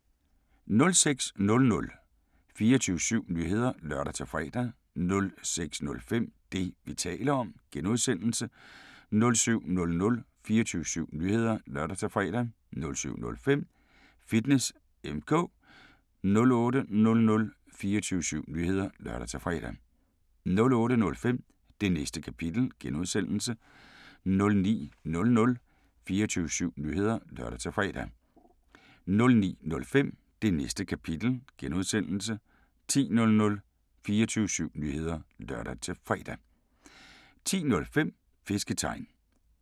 06:00: 24syv Nyheder (lør-fre) 06:05: Det, vi taler om (G) 07:00: 24syv Nyheder (lør-fre) 07:05: Fitness M/K 08:00: 24syv Nyheder (lør-fre) 08:05: Det Næste Kapitel (G) 09:00: 24syv Nyheder (lør-fre) 09:05: Det Næste Kapitel (G) 10:00: 24syv Nyheder (lør-fre) 10:05: Fisketegn